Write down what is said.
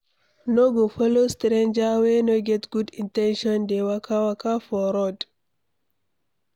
No go follow stranger wey no get good in ten tion dey waka-waka for road.